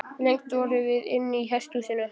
Lengst vorum við inni í hesthúsinu.